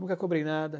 Nunca cobrei nada.